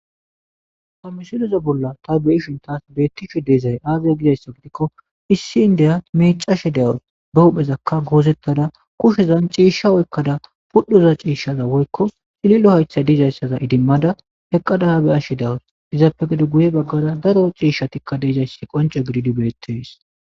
Ta misiloza bolla ta be7ishin taas beettishe deezay aazay gizayssa gidikko issi indeya mecashe dawus be huphezakka goozettada kushezan ciishsha woykkada pudhoza ciishshaza woykko xililo haytha dizayssaza idimmada heqqadaha be ashshe dawus izaappe gede guye baggara daro ciishshatikka deezayssi qonce gididi bettees.